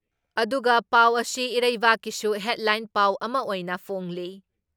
ꯑꯗꯨꯒ ꯄꯥꯎ ꯑꯁꯤ ꯏꯔꯩꯕꯥꯛꯀꯤꯁꯨ ꯍꯦꯗꯂꯥꯏꯟ ꯄꯥꯎ ꯑꯃ ꯑꯣꯏꯅ ꯐꯣꯡꯂꯤ ꯫